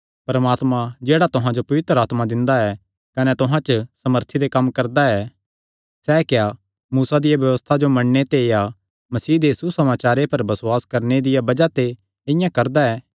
परमात्मा जेह्ड़ा तुहां जो पवित्र आत्मा दिंदा ऐ कने तुहां च सामर्थी दे कम्म करदा ऐ सैह़ क्या मूसा दिया व्यबस्था जो मन्नणे ते या मसीह दे सुसमाचारे पर बसुआसे करणे दिया बज़ाह ते इआं करदा ऐ